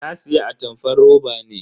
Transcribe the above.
Na siya atamfar roba ne.